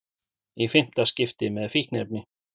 Í fimmta skipti með fíkniefni